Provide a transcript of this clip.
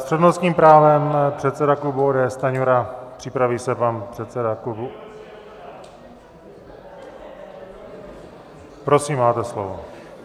S přednostním právem předseda klubu ODS Stanjura, připraví se pan předseda klubu - prosím, máte slovo.